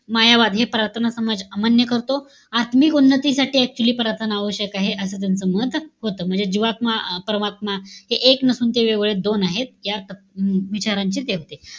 मायावाद हे प्रार्थना समाज अमान्य करतो. आत्मिक उन्नतीसाठी actually प्रार्थना आव्यश्यक आहे. असं त्यांचं मत होतं. म्हणजे, जीवात्मा, परमात्मा हे एक नसून तुमचे वेगवेगळे दोन आहेत. या स विचारांचे ते होते.